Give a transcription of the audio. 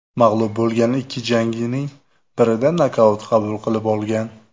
Mag‘lub bo‘lgan ikki jangining birida nokaut qabul qilib olgan.